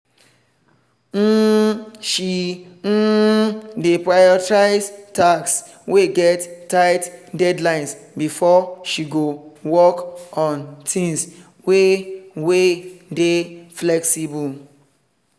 um she um dey prioritize tasks wey get tight deadlines before she go work on things wey wey dey flexible.